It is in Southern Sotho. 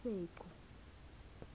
senqu